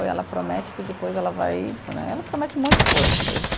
E ela promete que depois ela vai né, ela promete um monte de coisa, mas.